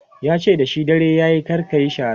yace da shi "dare yayi kar kayi shara!"